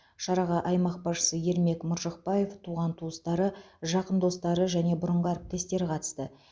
шараға аймақ басшысы ермек мыржықпаев туған туыстары жақын достары және бұрынғы әріптестері қатысты